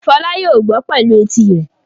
Fọlá yóò gbọ́ pẹ̀lú etí rẹ̀.